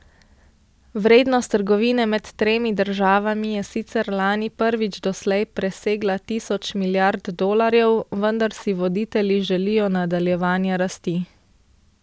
Vrednost trgovine med tremi državami je sicer lani prvič doslej presegla tisoč milijard dolarjev, vendar si voditelji želijo nadaljevanja rasti.